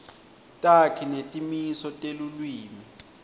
takhi netimiso telulwimi